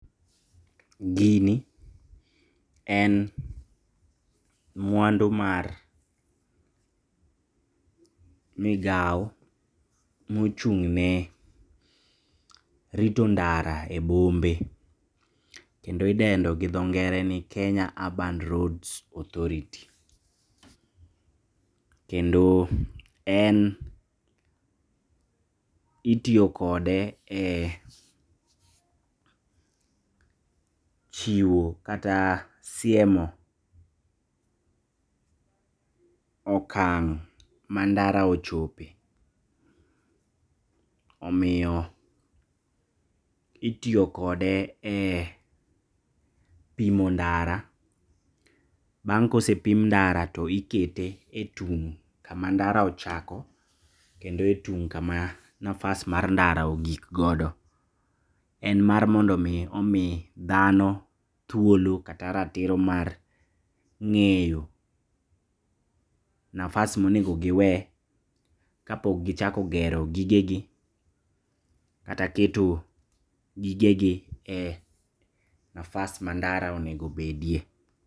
Gini en mwandu mar migao mochung'ne rito ndara e bombe kendo idendo gi dho ngere ni Kenya Urban Roads Authority, kendo en itiyo kode e chiwo kata siemo okang' mandara ochope, omiyo itiyo kode e pimo ndara. Bang' kosepim ndara to ikete e tung' kama ndara ochako, kendo e tung' kama nafas mar ndara ogik godo. En mar mondomi omi dhano thuolo kata ratiro mar ng'eyo nafas monego giwe kapok gichako gero gigegi kata keto gigegi e nafas mandara onego bedie.